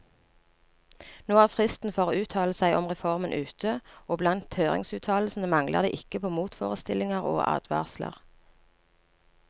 Nå er fristen for å uttale seg om reformen ute, og blant høringsuttalelsene mangler det ikke på motforestillinger og advarsler.